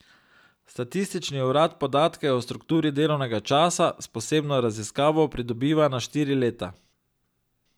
Statistični urad podatke o strukturi delovnega časa s posebno raziskavo pridobiva na štiri leta.